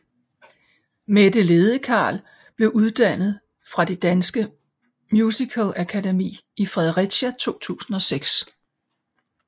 Mette Ladekarl blev uddannet fra Det Danske Musicalakademi i Fredericia i 2006